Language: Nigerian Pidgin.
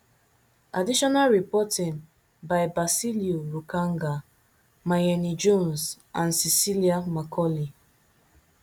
additional reporting by basillioh rukanga mayeni jones and cecilia macaulay